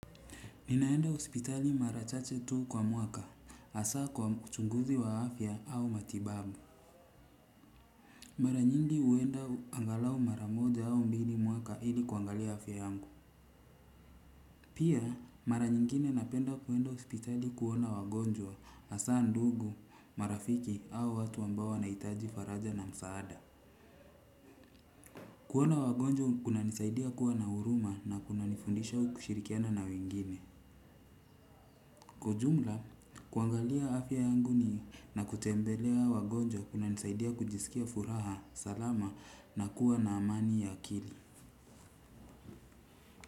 Ninaenda ospitali marachache tu kwa mwaka, asa kwa uchunguzi wa afya au matibabu. Mara nyingi uenda angalau mara moja au mbili mwaka ili kuangalia afya yangu. Pia mara nyingine napenda kuenda hospitali kuona wagonjwa hasa ndugu marafiki au watu ambao wanaitaji faraja na msaada. Kuona wagonjwa kuna nisaidia kuwa na huruma na kuna nifundisha kushirikiana na wengine. Kwa ujumla, kuangalia afya yangu ni na kutembelea wagonjwa kuna nisaidia kujisikia furaha, salama na kuwa na amani ya kili.